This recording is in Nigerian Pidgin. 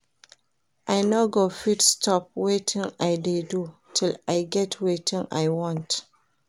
I no go fit stop wetin I dey do till I get wetin I want